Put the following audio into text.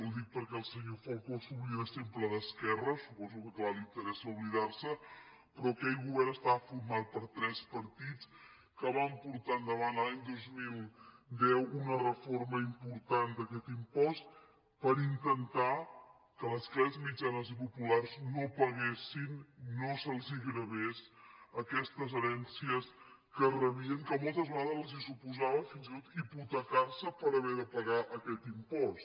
ho dic perquè el senyor falcó s’oblida sempre d’esquerra suposo que clar li interessa oblidar se’n però aquell govern estava format per tres partits que van portar endavant l’any dos mil deu una reforma important d’aquest impost per intentar que les classes mitjanes i populars no paguessin no se’ls gravessin aquestes herències que rebien que moltes vegades els suposaven fins i tot hipotecar se per haver de pagar aquest impost